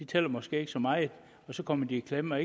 tæller måske ikke så meget og så kommer de i klemme